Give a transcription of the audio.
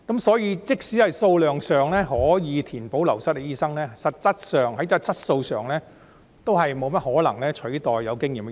所以，即使數量上可以填補流失的醫生，但實際上，在質素上也不大可能取代到有經驗的醫生。